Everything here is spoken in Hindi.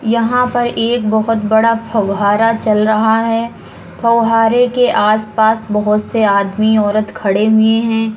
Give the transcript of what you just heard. यहाँ पर एक बहोत (बहुत) बड़ा फ़ौव्हारा (फव्वारा) चल रहा है। फ़ौव्हारे (फव्वारे) के आस-पास बहोत (बहुत) से आदमीऔरत खड़े हुए हैं।